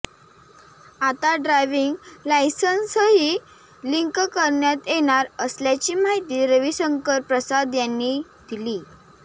आता ड्रायव्हिंग लायसन्सही लिंक करण्यात येणार असल्याची माहिती रविशंकर प्रसाद यांनी दिली